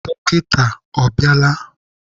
Dọkịta ọ bịala?